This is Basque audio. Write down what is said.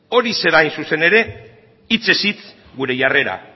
hori zen hain zuzen ere hitzez hitz gure jarrera